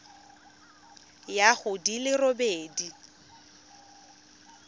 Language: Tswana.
ya go di le robedi